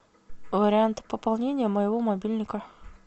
варианты пополнения моего мобильника